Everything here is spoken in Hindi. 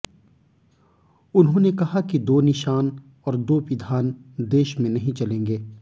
उन्होंने कहा कि दो निशान और दो विधान देश में नहीं चलेंगे